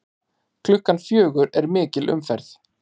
Klukkan fjögur er mikil umferð.